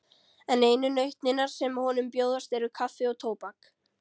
En einu nautnirnar sem honum bjóðast eru kaffi og tóbak.